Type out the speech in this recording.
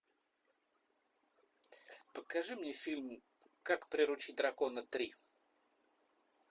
покажи мне фильм как приручить дракона три